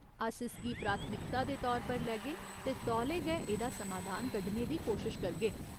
अस इसगी प्राथमिकता दे तौर पर लैगे ते तौले गै एह्दा समाधान कड्ढने दी कोशश करगे।